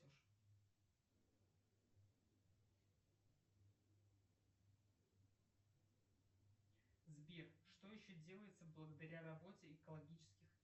сбер что еще делается благодаря работе экологических